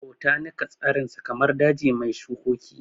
Botanika tsarinsa kamar daji mai shukoki